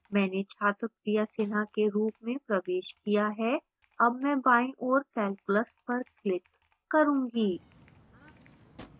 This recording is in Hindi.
मैंने छात्र priya sinha के रूप में प्रवेश किया है अब मैं बाईं ओर calculus पर click करूँगी